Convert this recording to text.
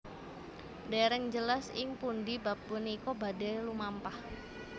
Dèrèng jelas ing pundhi bab punika badhé lumampah